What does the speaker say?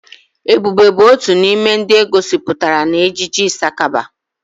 Ebube bụ otu n'ime ndị e gosipụtara n'ejije Ịsakaba.